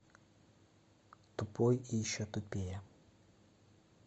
тупой и еще тупее